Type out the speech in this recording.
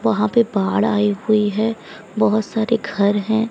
वहां पे बाढ़ आई हुई है बहोत सारे घर हैं।